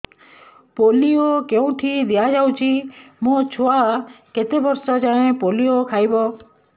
polio କେଉଁଠି ଦିଆଯାଉଛି ମୋ ଛୁଆ କେତେ ବର୍ଷ ଯାଏଁ ପୋଲିଓ ଖାଇବ